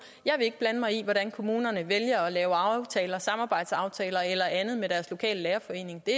jeg vil ikke blande mig i hvordan kommunerne vælger at lave samarbejdsaftaler eller andet med deres lokale lærerforeningen det